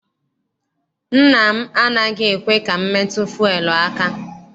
Nna m anaghị ekwe ka m metụ fuelu aka.